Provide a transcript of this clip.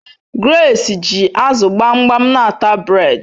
Grace ji azu gbamgbam n'ata bred